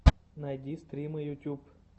найди стримы ютьюб